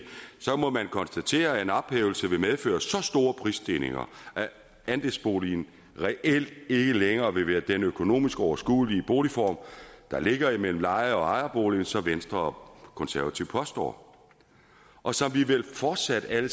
så må man konstatere at en ophævelse vil medføre så store prisstigninger at andelsboligen reelt ikke længere vil være den økonomisk overskuelige boligform der ligger mellem leje og ejerbolig som venstre og konservative påstår og som vi vel fortsat alle